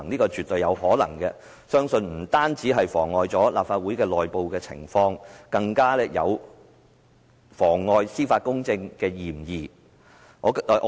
他絕對有可能想達致這個目的，但這不但會妨礙立法會的內部事務，更有妨礙司法公正之嫌。